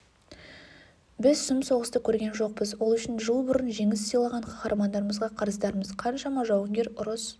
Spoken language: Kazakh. біз сұм соғысты көрген жоқпыз ол үшін жыл бұрын жеңіс сыйлаған қаһармандарымызға қарыздармыз қаншама жауынгер ұрыс